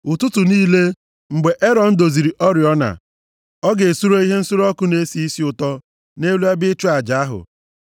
“Ụtụtụ niile, mgbe Erọn doziri oriọna, ọ ga-esure ihe nsure ọkụ na-esi isi ụtọ nʼelu ebe ịchụ aja ahụ.